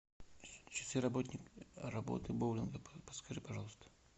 часы работы боулинга подскажи пожалуйста